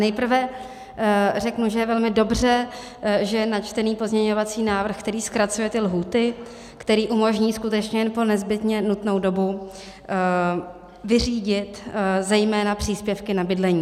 Nejprve řeknu, že je velmi dobře, že je načtený pozměňovací návrh, který zkracuje ty lhůty, který umožní skutečně jen po nezbytně nutnou dobu vyřídit zejména příspěvky na bydlení.